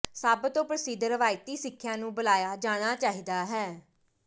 ਸਭ ਤੋ ਪ੍ਰਸਿੱਧ ਰਵਾਇਤੀ ਸਿੱਖਿਆ ਨੂੰ ਬੁਲਾਇਆ ਜਾਣਾ ਚਾਹੀਦਾ ਹੈ